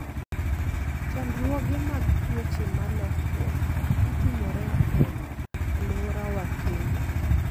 Chandruoge mag tuoche ma lokruok matimore e alworawa kelo.